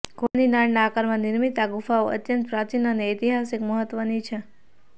ઘોડાની નાળ ના આકારમાં નિર્મિત આ ગુફાઓ અત્યંત પ્રાચીન અને ઐતિહાસિક મહત્વની છે